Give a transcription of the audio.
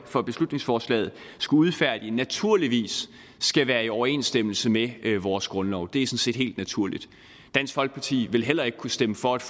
for beslutningsforslaget skulle udfærdige naturligvis skal være i overensstemmelse med vores grundlov det er sådan set helt naturligt dansk folkeparti ville heller ikke kunne stemme for et